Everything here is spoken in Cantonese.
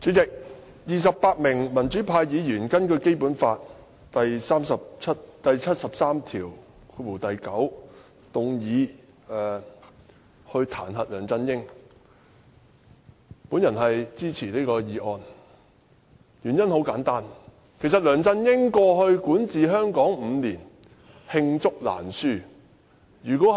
主席，我支持28名民主派議員根據《基本法》第七十三條第九項動議彈劾梁振英的議案，原因很簡單，梁振英在過去5年管治香港，惡行罄竹難書。